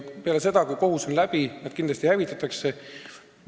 Peale seda, kui kohus on läbi, need kindlasti hävitatakse.